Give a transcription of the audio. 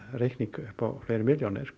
reikning upp á fleiri milljónir